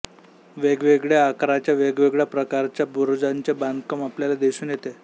वेगवेगळ्या आकाराच्या वेगवेगळ्या प्रकारच्या बुरुजांचे बांधकाम आपल्याला दिसून येते